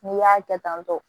N'i y'a kɛ tantɔ